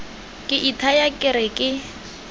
ke ithaya ke re ke